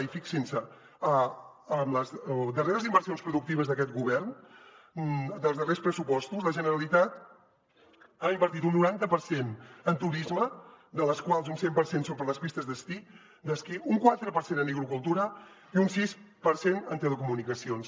i fixin se amb les darreres inversions productives d’aquest govern dels darrers pressupostos la generalitat ha invertit un noranta per cent en turisme de les quals un cent per cent són per a les pistes d’esquí un quatre per cent en agricultura i un sis per cent en telecomunicacions